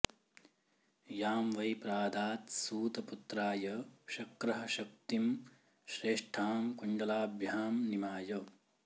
यां वै प्रादात्सूत पुत्राय शक्रः शक्तिं श्रेष्ठां कुण्डलाभ्यां निमाय